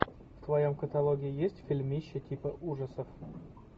в твоем каталоге есть фильмище типа ужасов